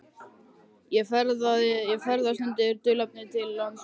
Ég ferðast undir dulnefni til lands með dulnefni.